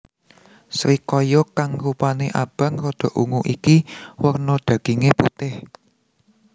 Srikaya kang rupané abang rada ungu iki werna dagingé putih